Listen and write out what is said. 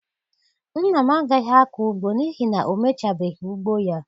Nna m agaghị akọ ugbo n'ihi na o mechabeghị ugbo ya